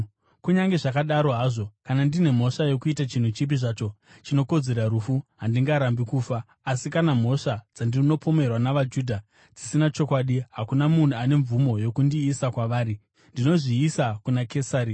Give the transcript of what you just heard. Kunyange zvakadaro hazvo, kana ndine mhosva yokuita chinhu chipi zvacho chinokodzera rufu, handingarambi kufa. Asi kana mhosva dzandinopomerwa navaJudha dzisina chokwadi, hakuna munhu ane mvumo yokundiisa kwavari. Ndinozviisa kuna Kesari!”